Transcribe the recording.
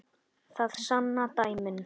Það sanna dæmin.